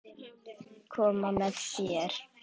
Koma með þér?